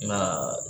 Nka